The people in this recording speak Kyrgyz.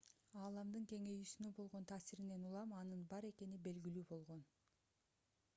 ааламдын кеңейүүсүнө болгон таасиринен улам анын бар экени белгилүү болгон